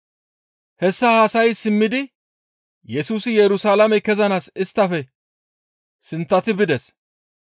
Hessa haasayi simmidi Yesusi Yerusalaame kezanaas isttafe sinththati bides.